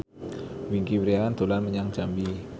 Wingky Wiryawan dolan menyang Jambi